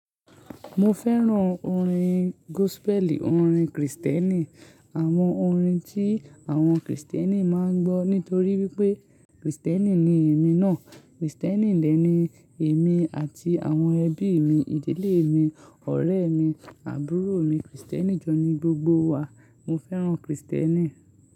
Mo fẹ́ràn orin gospel, orin Kristẹni. Àwọn orin tí àwọn Kristẹni máa ń gbọ́ nítorí wípé Kristẹni ni èmi náà. Kristẹni dẹ́ni èmi àti àwọn ẹbí mi, ìdílé mi, ọ̀rẹ́ mi, àbúrò mi, Kristẹni jọ ni gbogbo wa. Mo fẹ́ràn Kristẹni.